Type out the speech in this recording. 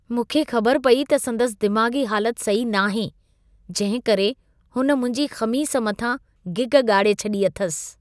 मूंखे ख़बर पई त संदसि दिमाग़ी हालत सही नाहे जंहिंकरे हुन मुंहिंजी ख़मीस मथां गिग ॻाड़े छॾी आथसि।